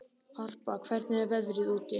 Harpa, hvernig er veðrið úti?